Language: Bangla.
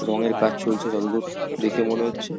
রঙের কাজ চলছে যতদূর দেখে মনে হচ্ছে ।